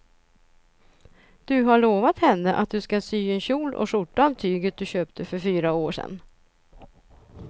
Du har lovat henne att du ska sy en kjol och skjorta av tyget du köpte för fyra år sedan.